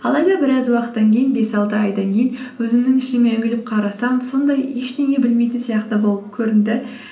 алайда біраз уақыттан кейін бес алты айдан кейін өзімнің ішіме үңіліп қарасам сондай ештеңе білмейтін сияқты болып көрінді